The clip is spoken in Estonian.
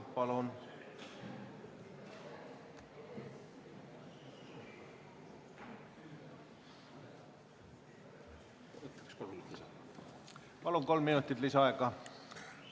Palun, kolm minutit lisaaega!